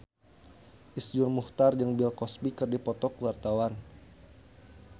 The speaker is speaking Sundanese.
Iszur Muchtar jeung Bill Cosby keur dipoto ku wartawan